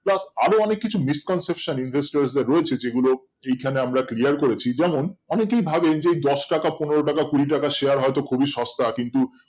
Plus আরো অনেক কিছু misconception রা রয়েছে যেগুলো এইখানে আমরা clear করেছি যেমন অনেকেই ভাবে যে দশটাকা পনেরো টাকা কুড়ি টাকা Share হয়তো খুবই সস্তা কিন্তু